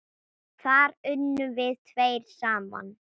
Þar unnum við tveir saman.